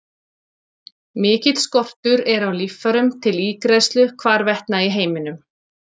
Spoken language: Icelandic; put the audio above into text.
Mikill skortur er á líffærum til ígræðslu hvarvetna í heiminum.